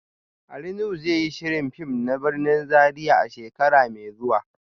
Ali Nuhu zai yi shirin fim na birnin Zaria a shekara mai zuwa